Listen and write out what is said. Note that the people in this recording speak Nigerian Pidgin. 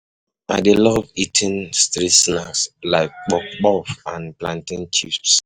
I dey love eating street snacks like puff-puff and plantain chips